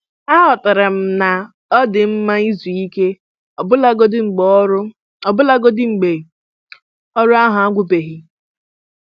Aghọtara m na ọ dị mma izu ike ọbụlagodi mgbe ọrụ ọbụlagodi mgbe ọrụ ahụ agwụbeghị.